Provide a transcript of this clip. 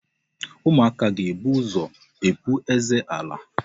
Ụmụaka ga-ebu ụzọ epu eze ala.